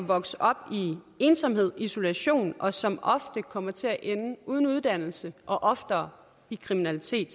vokse op i ensomhed og isolation og som ofte kommer til at ende uden uddannelse og oftere i kriminalitet